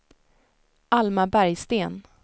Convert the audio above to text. Alma Bergsten